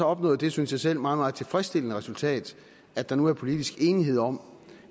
opnået det synes jeg selv meget meget tilfredsstillende resultat at der nu er politisk enighed om